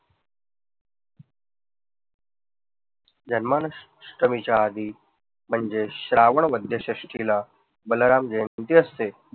जन्माष्टमीच्या आधी म्हणजे श्रावण वैध्य षष्ठीला बलराम जयंती असते.